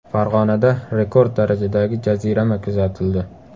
Farg‘onada rekord darajadagi jazirama kuzatildi.